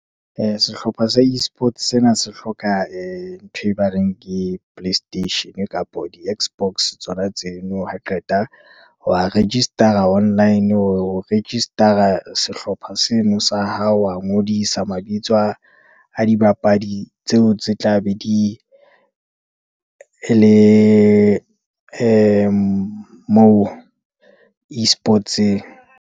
Sehlopha sa e-sports sena, se hloka ee ntho e ba reng ke play station, kapa di-X-box tsona tseno, ha qeta wa register-a online, o register-a sehlopha se seno sa hao, wa ngodisa mabitso a dibapadi tseo tse tla be di ele moo E-sports-eng.